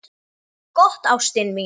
Gott, ástin mín.